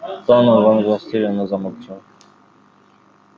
донован растерянно замолчал